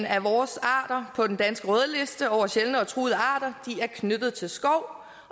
af vores arter på den danske rødliste over sjældne og truede arter er knyttet til skov